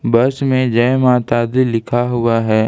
बस में जय माता दी लिखा हुआ है।